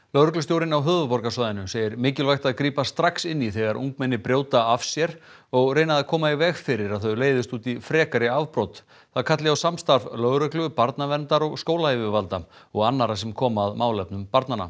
lögreglustjórinn á höfuðborgarsvæðinu segir mikilvægt að grípa strax inn í þegar ungmenni brjóta af sér og reyna að koma í veg fyrir að þau leiðist út í frekari afbrot það kalli á samstarf lögreglu barnaverndar skólayfirvalda og annarra sem koma að málefnum barnanna